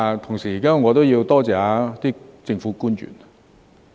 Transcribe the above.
同時，我也要多謝政府官員。